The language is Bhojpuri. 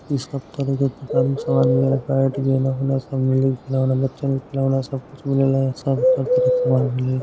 इ सब तरह के दुकानी के समान मिलेला बैट गेना ओना सब मिली बच्चन के खेलौना सब कुछ मिलेला यहाँ सब के सामान मिलेला।